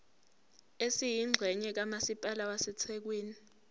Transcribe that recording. esiyingxenye kamasipala wasethekwini